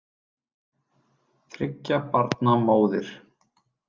Þriggja barna móðir.